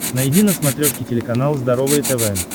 найди на смотрешке телеканал здоровое тв